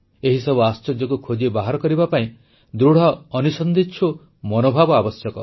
ଏହିସବୁ ଆଶ୍ଚର୍ଯ୍ୟକୁ ଖୋଜି ବାହାର କରିବା ପାଇଁ ଦୃଢ଼ ଅନୁସନ୍ଧିତ୍ସୁ ମନୋଭାବ ଆବଶ୍ୟକ